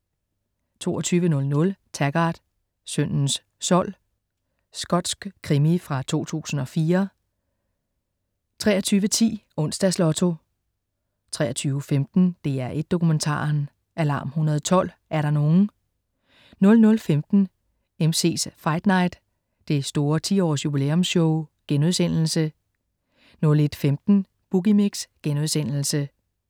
22.00 Taggart: Syndens sold. Skotsk krimi fra 2004 23.10 Onsdags Lotto 23.15 DR1 Dokumentaren: "Alarm 112 er der nogen?"* 00.15 MC's Fight Night. Det store 10-års-jubilæumsshow* 01.15 Boogie Mix*